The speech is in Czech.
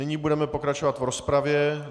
Nyní budeme pokračovat v rozpravě.